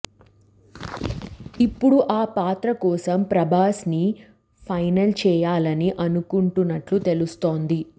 ఇప్పుడు ఆ పాత్ర కోసం ప్రభాస్ ని ఫైనల్ చేయాలని అనుకుంటున్నట్లు తెలుస్తోంది